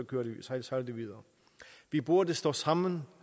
sejler videre vi burde stå sammen